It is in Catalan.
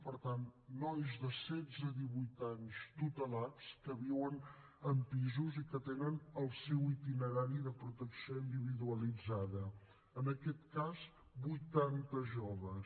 per tant nois de setze a divuit anys tutelats que viuen en pisos i que tenen el seu itinerari de protecció individualitzada en aquest cas vuitanta joves